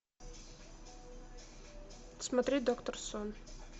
смотреть доктор сон